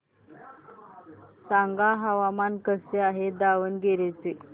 सांगा हवामान कसे आहे दावणगेरे चे